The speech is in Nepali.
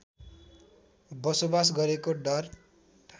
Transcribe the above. बसोबास गरेको डार